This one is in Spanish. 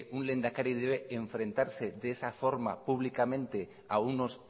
un lehendakari debe enfrentarse de esa forma públicamente a unos